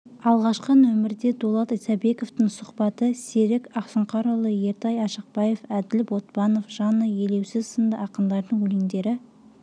алғашқы нөмірде дулат исабековтің сұхбаты серік ақсұңқарұлы ертай ашықбаев әділ ботпанов жанна елеусіз сынды ақындардың өлеңдері